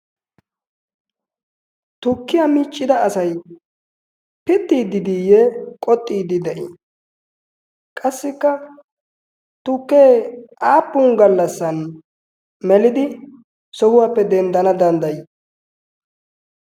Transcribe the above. tukkiyaa miiccida asai pittiiddidiiyye qoxxiiddi de7ii? qassikka tukkee aappun gallassan melidi sohuwaappe denddana danddayii?